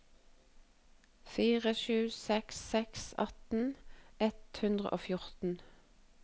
fire sju seks seks atten ett hundre og fjorten